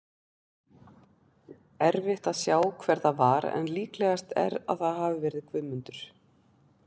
Erfitt að sjá hver það var en líklegast er að það hafi verið Guðmundur.